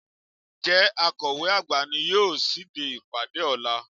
Ǹjẹ́ Akọ̀we àgbà ni yóò ṣíde ìpàdé ọ̀la?